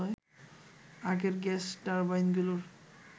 আগের গ্যাস টারবাইনগুলোর